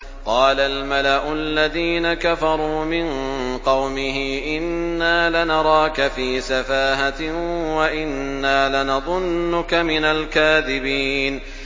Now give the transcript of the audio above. قَالَ الْمَلَأُ الَّذِينَ كَفَرُوا مِن قَوْمِهِ إِنَّا لَنَرَاكَ فِي سَفَاهَةٍ وَإِنَّا لَنَظُنُّكَ مِنَ الْكَاذِبِينَ